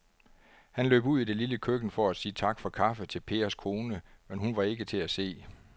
Han løb ud i det lille køkken for at sige tak for kaffe til Pers kone, men hun var ikke til at se.